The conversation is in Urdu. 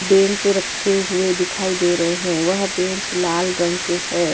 بینچ رکھے ہوئے دکھائی دے رہے ہے۔ وہ بینچ لال رنگ کے ہے۔